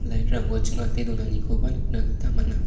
lait rangko ching·ate donanikoba nikna gita man·a.